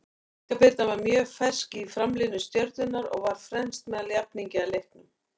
Inga Birna var mjög fersk í framlínu Stjörnunnar og var fremst meðal jafningja í leiknum.